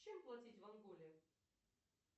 чем платить в анголе